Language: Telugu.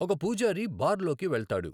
ఒక పూజారి బార్ లోకి వెళ్తాడు